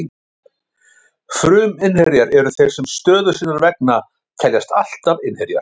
Fruminnherjar eru þeir sem stöðu sinnar vegna teljast alltaf innherjar.